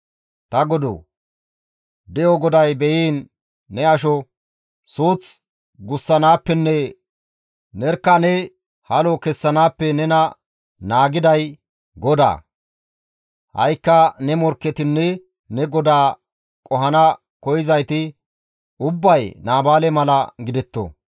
«Ta godoo! De7o GODAY beyiin! Ne asho. Suuth gussanaappenne nerkka ne halo kessanaappe nena naagiday GODAA. Ha7ikka ne morkketinne ta godaa qohana koyzayti ubbay Naabaale mala gidetto.